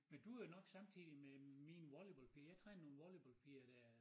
Men du jo nok samtidig med mine volleyballpiger jeg trænede nogen volleyballpiger dér